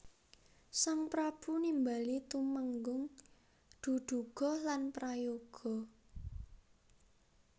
Sang prabu nimbali tumenggung Duduga lan Prayoga